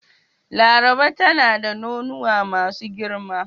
Laraba tana da nonuwa masu girma.